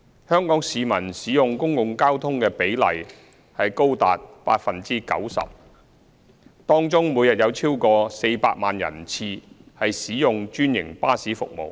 香港市民使用公共交通的比例高達 90%， 當中每天有超過400萬人次使用專營巴士服務。